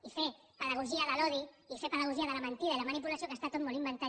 i fer pedagogia de l’odi i fer pedagogia de la mentida i la manipulació que està tot molt inventat